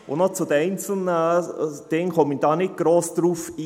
Auf die einzelnen Dinge gehe ich nicht gross ein.